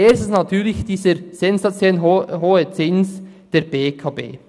Erstens natürlich dieser sensationell hohe Zins der BEKB.